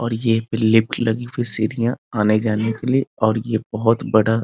और ये पे लिफ्ट लगी हुई सीढियां आने-जाने के लिएऔर ये बहुत बड़ा --